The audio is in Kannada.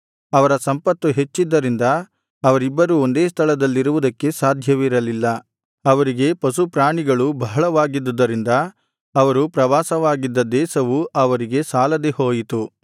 ಅವರ ಸಂಪತ್ತು ಹೆಚ್ಚಿದ್ದದರಿಂದ ಅವರಿಬ್ಬರೂ ಒಂದೇ ಸ್ಥಳದಲ್ಲಿರುವುದಕ್ಕೆ ಸಾಧ್ಯವಿರಲಿಲ್ಲ ಅವರಿಗೆ ಪಶುಪ್ರಾಣಿಗಳು ಬಹಳವಾಗಿದ್ದುದರಿಂದ ಅವರು ಪ್ರವಾಸವಾಗಿದ್ದ ದೇಶವು ಅವರಿಗೆ ಸಾಲದೆ ಹೋಯಿತು